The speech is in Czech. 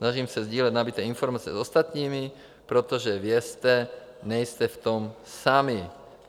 Snažím se sdílet nabyté informace s ostatními, protože vězte, nejste v tom sami.